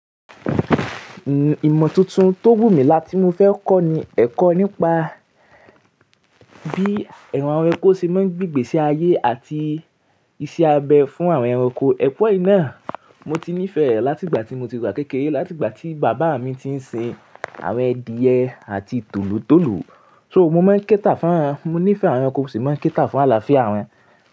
Ìmọ̀ tuntun tó wù mí láti mo fẹ́ kọ́ ni ẹ̀kọ́ nípa bí awpn ẹranko ṣe máa ń gbigbèsí ayé àti iṣẹ́ abẹ fún àwọn ẹranko. Ẹ̀kọ́ yìí náà mo ti nífẹ̀ẹ́ rẹ̀ láti ìgbà tí mo ti wà kékeré, láti ìgbà tí bàbá mi ti ń sin àwọn adìẹ àti tòlótòló. So, mo má ń kẹ́tà fún wọn, mo nífẹ̀ẹ́ àwọn ẹranko sì máa ń kẹ́tà fún àlàáfíà wọn.